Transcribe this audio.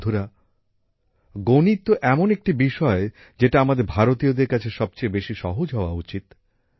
বন্ধুরা গনিত তো এমন একটি বিষয় যেটা আমাদের ভারতীয়দের কাছে সবচেয়ে বেশি সহজ হওয়া উচিত